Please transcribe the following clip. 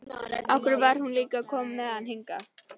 Af hverju var hún líka að koma með hann hingað?